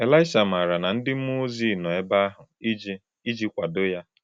Elisha maara na ndị mmụọ ozi nọ ebe ahụ iji iji kwado ya.